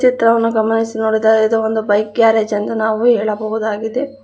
ಚಿತ್ರವನ್ನು ಗಮನಿಸಿ ನೋಡಿದರೆ ಇದು ಒಂದು ಬೈಕ್ ಗ್ಯಾರೇಜ್ ಎಂದು ನಾವು ಹೇಳಬಹುದಾಗಿದೆ.